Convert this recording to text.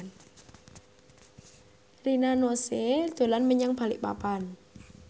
Rina Nose dolan menyang Balikpapan